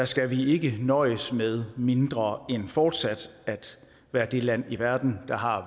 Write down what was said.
skal vi ikke nøjes med mindre end fortsat at være det land i verden der har